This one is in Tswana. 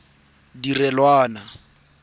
disata tse di direlwang fa